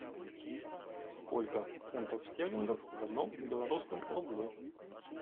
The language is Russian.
сколько фунтов стерлингов в одном белорусском рубле